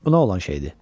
Bu nə olan şeydir?